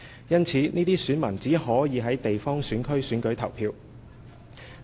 因此，這些選民只可就地方選區選舉投票。